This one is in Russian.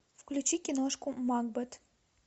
включи киношку макбет